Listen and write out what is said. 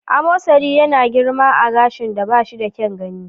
Amosari yana girma a gashin da ba shi da kyan gani.